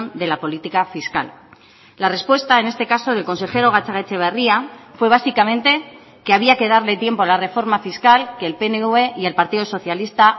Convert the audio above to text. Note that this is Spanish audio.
de la política fiscal la respuesta en este caso del consejero gatzagaetxebarria fue básicamente que había que darle tiempo la reforma fiscal que el pnv y el partido socialista